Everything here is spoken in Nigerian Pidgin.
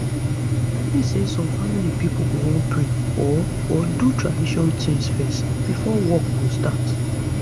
i mean say some family pipo go wan pray or or do tradition tings fezz before work go start